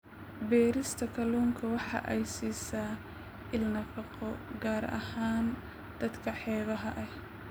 Beerista kalluunka waxa ay siisaa il nafaqo, gaar ahaan dadka xeebaha ah.